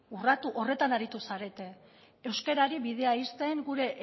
urratu horretan aritu zarete euskarari bidea ixten gure